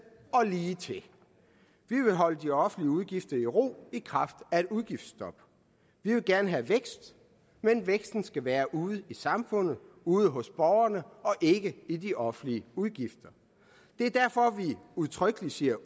og ligetil vi vil holde de offentlige udgifter i ro i kraft af et udgiftsstop vi vil gerne have vækst men væksten skal være ude i samfundet ude hos borgerne og ikke i de offentlige udgifter det er derfor at vi udtrykkeligt siger